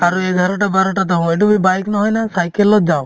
আৰু এঘাৰটা বাৰটাত আহো এইটো কি bike নহয় না cycle ত যাওঁ